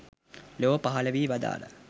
ලොව පහළ වී වදාළා.